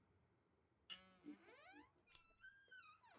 Ekki sú sem þú vonaðir.